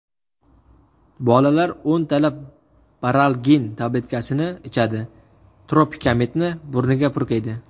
Bolalar o‘ntalab baralgin tabletkasini ichadi, tropikamidni burniga purkaydi.